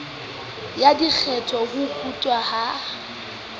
ya dikgetla ho kutwa ha